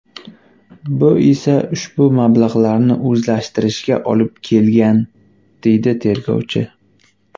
Bu esa ushbu mablag‘larni o‘zlashtirishga olib kelgan”, deydi tergovchi.